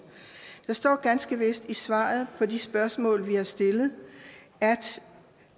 der står ganske vist i svaret på de spørgsmål vi har stillet